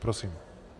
Prosím.